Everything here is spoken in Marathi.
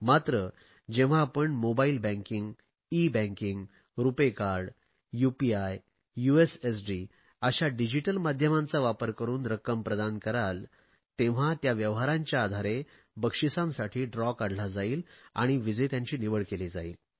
मात्र जेव्हा आपण mobile banking e banking RuPay card UPI USSD अशा डिजिटल माध्यमांचा वापर करुन रक्कम प्रदान कराल तेव्हा त्या व्यवहारांच्या आधारे बक्षिसांसाठी सोडत काढली जाईल आणि विजेत्यांची निवड केली जाईल